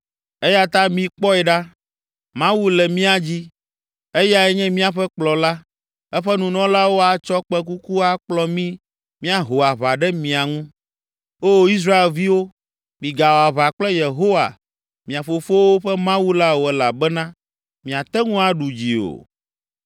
eya ta, mikpɔe ɖa, Mawu le mía dzi, eyae nye míaƒe Kplɔla. Eƒe nunɔlawo atsɔ kpẽkuku akplɔ mí míaho aʋa ɖe mia ŋu. Oo Israelviwo, migawɔ aʋa kple Yehowa, mia fofowo ƒe Mawu la o elabena miate ŋu aɖu dzi o!”